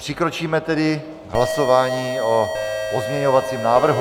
Přikročíme tedy k hlasování o pozměňovacím návrhu.